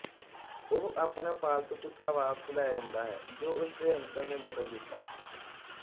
ਉਹ ਆਪਣਾ ਪਾਲਤੂ ਕੁੱਤਾ ਵਾਪਿਸ ਲੈ ਆਉਂਦਾ ਹੈ ਜੋ ਉਸਦੇ ਅੰਕਲ ਨੇ ਬਦਲ ਦਿਤਾ ਸੀ